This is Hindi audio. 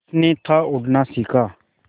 उसने था उड़ना सिखा